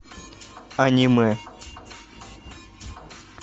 аниме